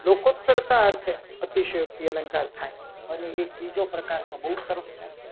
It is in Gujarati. લોકોત કરતા અર્થે અતિશયોક્તિ અલંકાર થાય. અને બીજો એક પ્રકાર તો બહુ સરસ છે.